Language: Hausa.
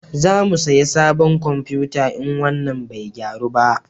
Za mu saya sabon komfuta in wannan bai gyaru ba